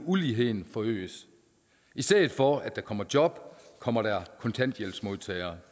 uligheden forøges i stedet for at der kommer job kommer der kontanthjælpsmodtagere